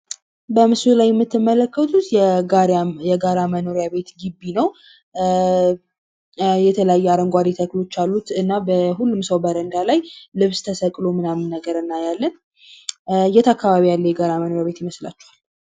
በምስሉ ላይ የምትመለከቱት የጋራ መኖሪያ ቤት ግቢ ነው። የተለያዩ አረንጓደ ተክሎች አሉት እና በሁሉም ሰው በረንዳ ላይ ልብስ ተሰቅሎ ምናምን ነገር እናያለን ።የት አካባቢ ያለ የጋራ መኖሪያ ቤት ይመስላችኋል?